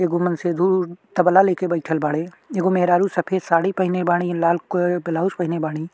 एगो मन से दूर तबला लय के बइठल बाड़ी एगो मेहरारू सफ़ेद साड़ी पहने बाड़ी लाल क ब्लाउज पहने बाड़ी।